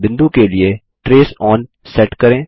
बिंदु के लिए ट्रेस ओन सेट करें